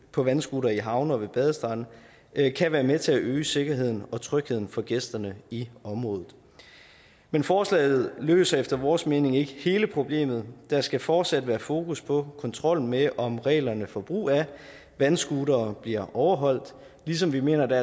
på vandscooter i havne og ved badestrande kan være med til at øge sikkerheden og trygheden for gæsterne i området men forslaget løser efter vores mening ikke hele problemet der skal fortsat være fokus på kontrollen med om reglerne for brug af vandscootere bliver overholdt ligesom vi mener at der